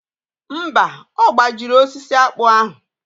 Mba, ọ gbajiri osisi akpụ ahụ.